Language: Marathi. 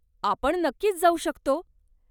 आपण नक्कीच जाऊ शकतो.